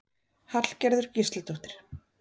Hallgerður Gísladóttir.